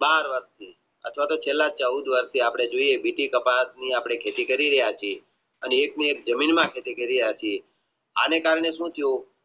બાર વર્ષે અથવા તો છેલ્લા ચૌદ વર્ષે વિધિ કપાસ ની આપણે જે ખેતી કરી રહ્યા છીએ અને એક ની એક જમીનમાં ખેતી કરી રહ્યા છીએ આને કારણે સુ થુયું